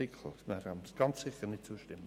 Dem werden wir ganz sicher nicht zustimmen.